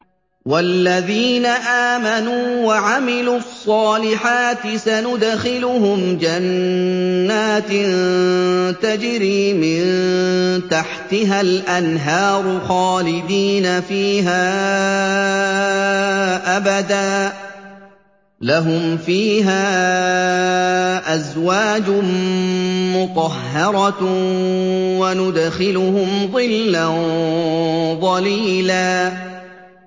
وَالَّذِينَ آمَنُوا وَعَمِلُوا الصَّالِحَاتِ سَنُدْخِلُهُمْ جَنَّاتٍ تَجْرِي مِن تَحْتِهَا الْأَنْهَارُ خَالِدِينَ فِيهَا أَبَدًا ۖ لَّهُمْ فِيهَا أَزْوَاجٌ مُّطَهَّرَةٌ ۖ وَنُدْخِلُهُمْ ظِلًّا ظَلِيلًا